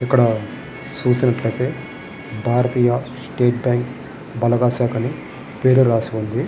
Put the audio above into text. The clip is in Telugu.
ఇక్కడ చూసినట్టు అయితే భారతీయ స్టేట్ బ్యాంకు బలగా శాఖ అని రాసి వుంది.